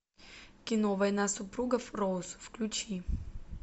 кино война супругов роуз включи